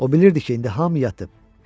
O bilirdi ki, indi hamı yatıb.